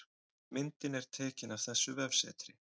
Myndin er tekin af þessu vefsetri